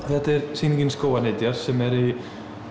þetta er sýningin skógarnytjar sem er í